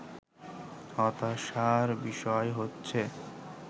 হতাশার বিষয় হচ্ছে